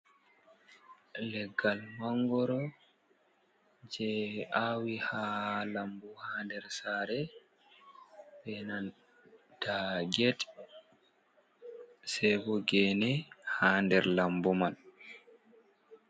Leggal mangoro je awi ha lambu ha der sare Bena ndagene ha der lambu man.